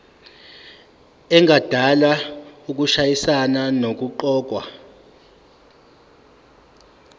engadala ukushayisana nokuqokwa